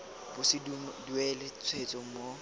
bo se duelwe tshwetso mo